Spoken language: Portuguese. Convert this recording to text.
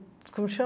Como chama?